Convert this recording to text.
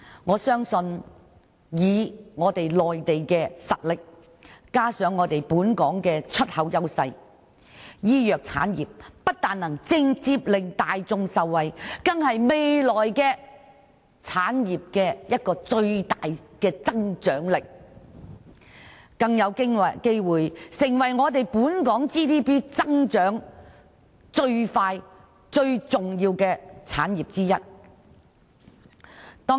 我相信以中國內地的實力加上本港的出口優勢，醫藥產藥不單會直接令大眾受惠，更是未來香港產業一個最大的增長動力，更有機會成為本港 GDP 增長最快、最重要的產業之一。